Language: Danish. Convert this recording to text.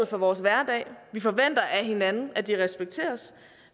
for vores hverdag vi forventer af hinanden at de respekteres